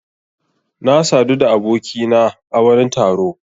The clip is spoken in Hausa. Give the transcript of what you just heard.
Na sadu da abokina a wani taro.